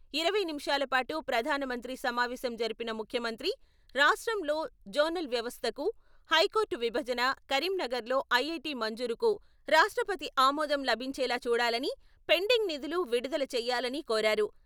ఇరవై నిమిషాల పాటు ప్రధానమంత్రితో సమావేశం జరిపిన ముఖ్యమంత్రి రాష్ట్రంలో జోనల్ వ్యవస్థకు హైకోర్టు విభజన కరీంనగర్‌లో ఐఐటి మంజూరుకు ర్రాష్ట్రపతి ఆమోదం లభించేలా చూడాలని, పెండింగ్ నిధులు విడుదల చేయాలని కోరారు.